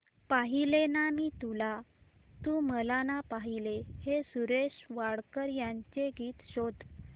पाहिले ना मी तुला तू मला ना पाहिले हे सुरेश वाडकर यांचे गीत शोध